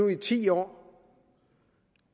i ti år